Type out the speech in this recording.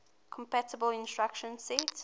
compatible instruction set